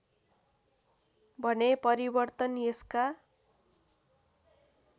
भने परिवर्तन यसका